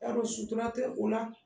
Y'a dɔn sutura tɛ o la